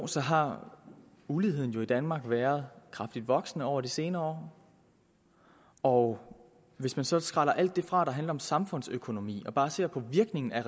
så har uligheden i danmark jo været kraftigt voksende over de senere år og hvis man så skræller alt det fra der handler om samfundsøkonomi og bare ser på virkningen af